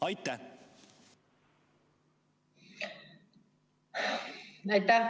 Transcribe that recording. Aitäh!